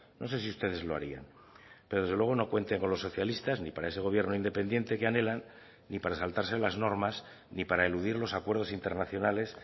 no sé si ustedes lo harían pero desde luego no cuenten con los socialistas ni para ese gobierno independiente que anhelan ni para saltarse las normas ni para eludir los acuerdos internacionales